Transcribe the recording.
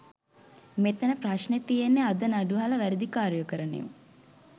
මෙතන ප්‍රශ්නේ තියෙන්නේ අද නඩු අහල වැරදි කාරයෝ කරන එවුන්